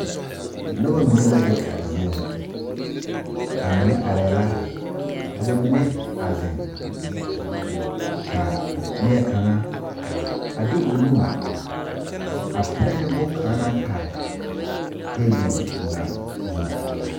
Noba mine la be a zie nyɛ, ba mine arɛɛ la ka ba mine ziŋ ka neɛ kaŋa a de o nu a pirɛ ne boŋ kaŋa naŋ pare tabol ŋa zu.